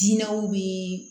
Dinɛw bi